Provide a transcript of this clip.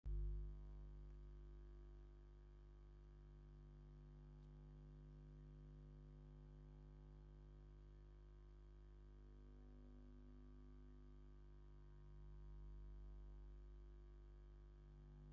እዚ ዝረአ ዘሎ ፍጹም ዝተሰርሐ ፀገሪን ብድሕሪት ዝተኣስረ ዓቢ ኣርቴፍሻልን ዘለዎ ጸጉሪ ርእሲ ሓንቲ ጓል ኣንስተይቲ ዘርኢ እዩ። እዚ ዓይነት ኣሰራርሓ ፀጉሪ ድስ ይብለኩም ዶ?